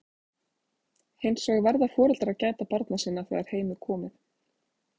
Hins vegar verða foreldrar að gæta barna sinna þegar heim er komið.